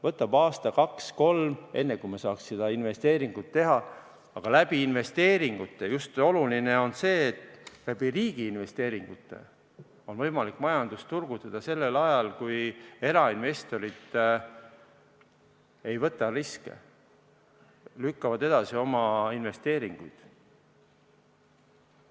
Võtab aasta või kaks-kolm, enne kui me saaksime seda investeeringut teha, aga investeeringute abil – oluline on just see, et riigi investeeringute abil – on võimalik majandust turgutada sel ajal, kui erainvestorid ei võta riske, lükkavad oma investeeringuid edasi.